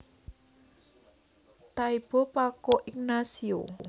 Taibo Paco Ignacio